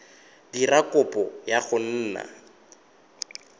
dira kopo ya go nna